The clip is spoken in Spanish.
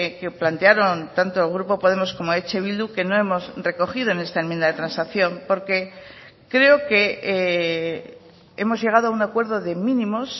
que plantearon tanto el grupo podemos como eh bildu que no hemos recogido en esta enmienda de transacción porque creo que hemos llegado a un acuerdo de mínimos